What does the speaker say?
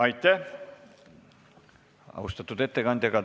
Aitäh, austatud ettekandja!